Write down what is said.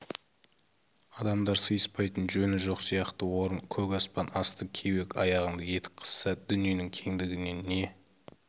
адамдар сыйыспайтын жөні жоқ сияқты орын көп аспан асты кеуек аяғыңды етік қысса дүниенің кеңдігінен не